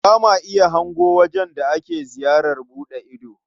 Ba ma iya hango wajen da ake ziyarar buɗe ido.